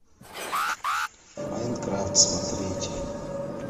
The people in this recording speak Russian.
майнкрафт смотреть